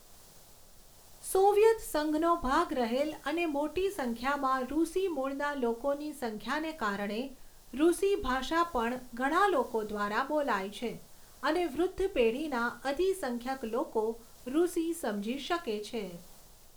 Soviet સંઘનો ભાગ રહેલ અને મોટી સંખ્યામાં રૂસી મૂળના લોકોની સંખ્યાને કારણે રૂસી ભાષા પણ ઘણાં લોકો દ્વારા બોલાય છે અને વૃદ્ધ પેઢીના અધિસંખ્યક લોકો રૂસી સમજી શકે છે.